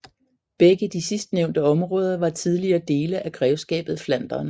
Begge de sidstnævnte områder var tidligere dele af grevskabet Flandern